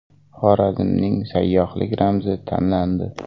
Xorazmning sayyohlik ramzi tanlandi.